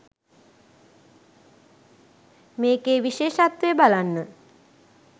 මේකේ විශේෂත්වය බලන්න